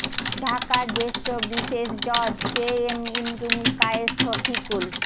ঢাকার জ্যেষ্ঠ বিশেষ জজ কে এম ইমরুল কায়েস শফিকুল